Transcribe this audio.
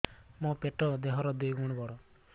ମୋର ପେଟ ଦେହ ର ଦୁଇ ଗୁଣ ବଡ